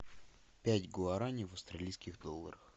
пять гуараней в австралийских долларах